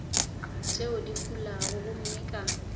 tšeo di fulago gomme ka